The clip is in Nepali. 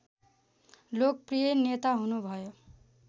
लोकप्रिय नेता हुनुभयो